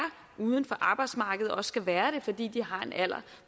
uden for arbejdsmarkedet og skal være det fordi de har en alder